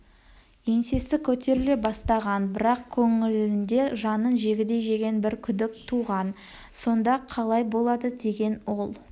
еңсесі көтеріле бастаған бірақ көңілінде жанын жегідей жеген бір күдік туған сонда қалай болады деген ол